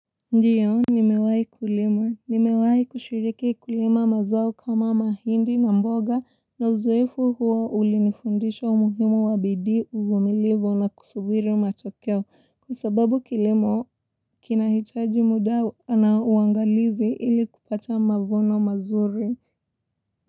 Ndiyo nimewahi kulima nimewahi kushiriki kulima mazao kama mahindi na mboga na uzoefu huo ulinifundisha umuhimu wa bidii uvumilivu na kusubiri matokeo kwa sababu kilimo kinahitaji muda na uangalizi ili kupata mavuno mazuri.